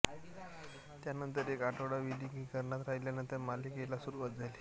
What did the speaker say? त्यानंतर एक आठवडा विलगीकरणात राहिल्यानंतर मालिकेला सुरुवात झाली